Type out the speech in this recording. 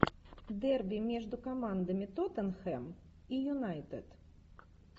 дерби между командами тоттенхэм и юнайтед